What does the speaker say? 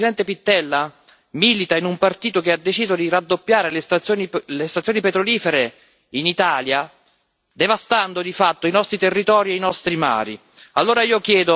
Il problema è che il presidente Pittella milita in un partito che ha deciso di raddoppiare le stazioni petrolifere in Italia, devastando di fatto i nostri territori e i nostri mari.